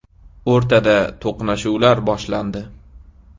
O‘rtada to‘qnashuvlar boshlandi.